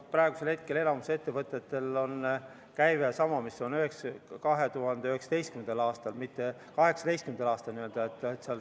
Praegusel hetkel on enamikul ettevõtetel käive sama, mis oli 2019. aastal, mitte 2018. aastal.